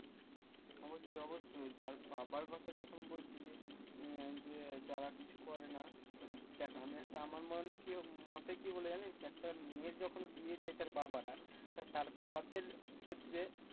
অবশ্যই অবশ্যই যার বাবার কথা যখন বলছিস, আহ যে যারা কিছু করেনা, দেখ আমি একটা আমার মনে কি মতে কি বলে জানিস্? একটা মেয়ের যখন বিয়ে দেয় তার বাবারা তা তার বাবাদের ক্ষেত্রে